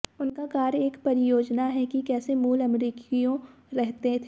उनका कार्य एक परियोजना है कि कैसे मूल अमेरिकियों रहते थे